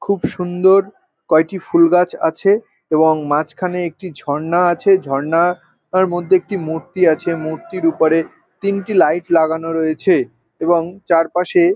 খুব সুন্দর কয়েকটি ফুল গাছ আছে এবং মাঝখানে একটি ঝর্ণা আছে ঝর্ণা আর মধ্যে একটি মূর্তি আছে মূর্তির উপরে তিনটি লাইট লাগানো রয়েছে এবং চারপাশে --